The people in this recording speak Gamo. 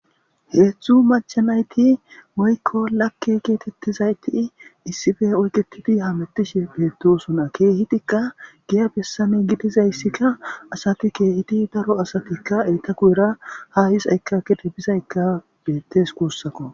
Heedzdzu machanayti moyko lakke geetettizayti issife oyketidi hamettishe beettosuna keehitikka giya bessame gidizayssikka asati keehiti daro asatikka eetaku era ha his aykkakide bisayka bettes kuussako.